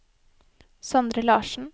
Sondre Larssen